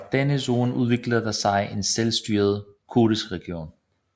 Fra denne zone udviklede der sig en selvstyret kurdisk region